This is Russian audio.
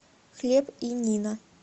хлеб и нино